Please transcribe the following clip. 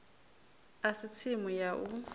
a si tsimu ya u